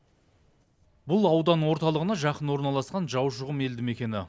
бұл аудан орталығына жақын орналасқан жаушықұм елді мекені